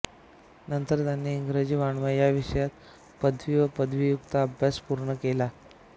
नंतर त्यांनी इंग्रजी वाङ्मय या विषयात पदवी व पदव्युत्तर अभ्यास पूर्ण केला